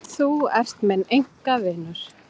Þú ert minn einkavinur.